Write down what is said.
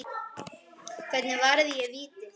Hvernig varði ég vítið?